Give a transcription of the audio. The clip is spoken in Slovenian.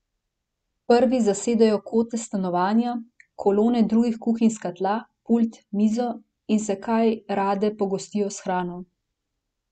Prvi zasedejo kote stanovanja, kolone drugih kuhinjska tla, pult, mizo in se kaj rade pogostijo s hrano.